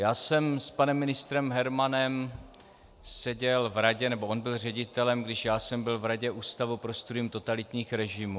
Já jsem s panem ministrem Hermanem seděl v radě - nebo on byl ředitelem, když já jsem byl v radě Ústavu pro studium totalitních režimů.